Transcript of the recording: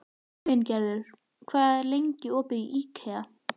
Sveingerður, hvað er lengi opið í IKEA?